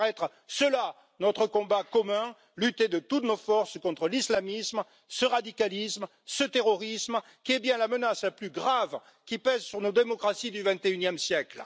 Ce devrait être cela, notre combat commun lutter de toutes nos forces contre l'islamisme, ce radicalisme, ce terrorisme qui est bien la menace la plus grave qui pèse sur nos démocraties du XXIe siècle.